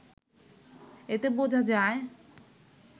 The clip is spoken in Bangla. এতে বোঝা যায়